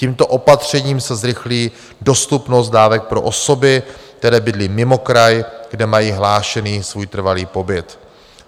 Tímto opatřením se zrychlí dostupnost dávek pro osoby, které bydlí mimo kraj, kde mají hlášený svůj trvalý pobyt.